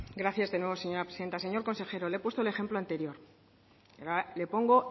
gracias de nuevo señora presidenta señor consejero le he puesto el ejemplo anterior le pongo